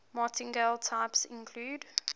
martingale types include